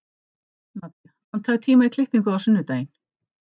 Nadía, pantaðu tíma í klippingu á sunnudaginn.